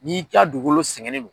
N'i ka dugukolo sɛgɛnnen do